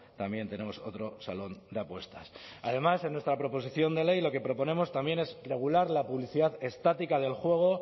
también tenemos otro salón de apuestas además en nuestra proposición de ley lo que proponemos también es regular la publicidad estática del juego